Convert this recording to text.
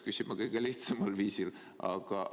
See on vist kõige lihtsamal viisil esitatud küsimus.